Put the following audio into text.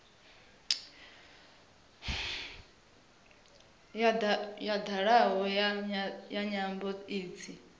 ya dalaho ya nyambo idzi